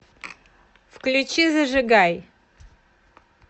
включи зажигай